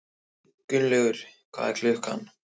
Gangi þér allt í haginn, Benidikta.